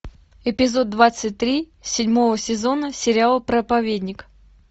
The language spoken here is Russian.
эпизод двадцать три седьмого сезона сериал проповедник